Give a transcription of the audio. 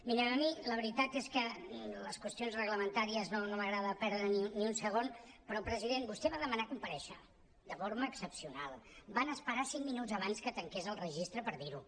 mirin a mi la veritat és que amb les qüestions reglamentàries no m’agrada perdre hi ni un segon però president vostè va demanar comparèixer de forma excepcional van esperar cinc minuts abans que tanqués el registre per dir ho